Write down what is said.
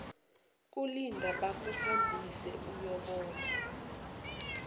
kulinda bakuhambise uyobona